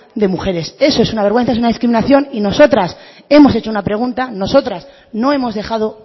de mujeres eso es una vergüenza eso es una discriminación y nosotras hemos hecho una pregunta nosotras no hemos dejado